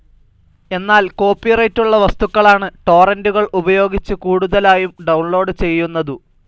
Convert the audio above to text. എന്നാൽ കോപ്പിറൈറ്റുള്ള വസ്തുക്കളാണ് ടോറന്റുകൾ ഉപയോഗിച്ചു കൂടുതലായും ഡൌൺലോഡ്‌ ചെയ്യുന്നതു.